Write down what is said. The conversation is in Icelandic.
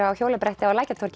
á hjólabretti